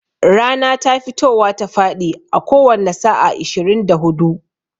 Rana ta fitowa ta faɗi a a kowanne sa'a ishirin da hudu.